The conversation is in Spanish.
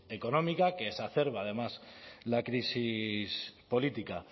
económica que exacerba además la crisis política